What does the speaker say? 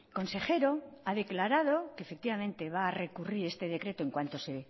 consejero ha declarado que efectivamente va a recurrir este decreto en cuanto se